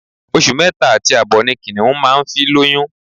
Oṣù mẹ́ta àti àbọ̀ ni Kìnìún máa ń fi lóyún